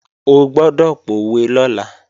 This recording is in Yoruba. O gbọ́dọ̀ pòwe lọ́la!